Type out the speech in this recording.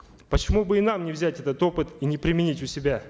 почему бы и нам не взять этот опыт и не применить у себя